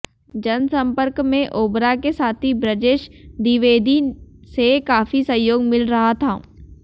जनसंपर्क में ओबरा के साथी ब्रजेश द्विवेदी से काफी सहयोग मिल रहा था